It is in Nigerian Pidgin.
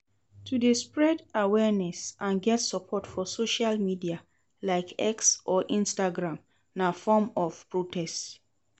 To de spread awareness and get support for social media like X or Instagram na form of protect